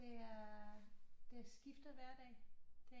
Det er det skifter hver dag det